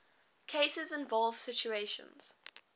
cases involve situations